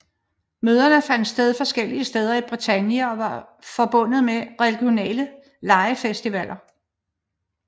Møderne fandt sted forskellige steder i Bretagne og var forbundet med regionale legefestivaller